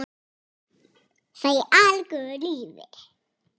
Það er algjör lygi.